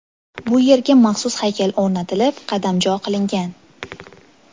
Bu yerga maxsus haykal o‘rnatilib, qadamjo qilingan.